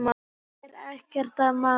Það er ekkert að maður.